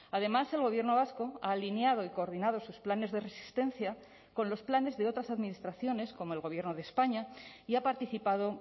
además el gobierno vasco ha alineado y coordinado sus planes de resistencia con los planes de otras administraciones como el gobierno de españa y ha participado